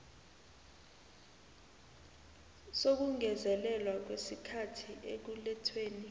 sokungezelelwa kwesikhathi ekulethweni